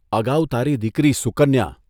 અગાઉ તારી દીકરી સુકન્યા,...